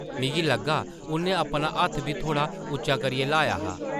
मिगी लग्गा उʼन्नै अपना हत्थ बी थोह्ड़ा उच्चा करियै ल्हाया हा ।